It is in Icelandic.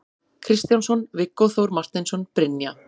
Kristjánsson, Viggó Þór Marteinsson, Brynja